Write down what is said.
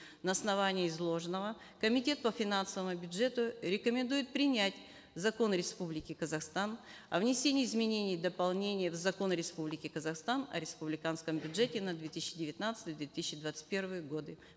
на основании изложенного комитет по финансовому бюджету рекомендует принять закон республики казахстан о внесении изменений и дополнений в закон республики казахстан о республиканском бюджете на две тысячи девятнадцатый две тысячи двадцать первые годы